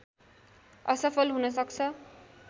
असफल हुन सक्छ